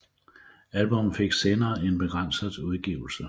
Albummet fik senere en begrænset udgivelse